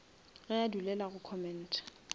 ge a dulela go commenta